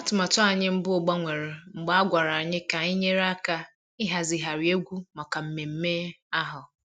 Atụmatụ anyị mbụ gbanwere mgbe a gwara anyị ka anyị nyere aka ịhazigharị egwu maka mmemme ahụ